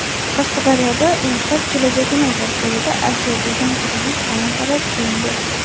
Qashqadaryoda "Yoshlar – kelajagimiz" dasturida ajratilgan kredit talon-toroj qilindi.